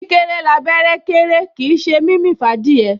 Kíkéré l'abẹ́rẹ́ kéré kìí ṣe mímì f'ádìẹ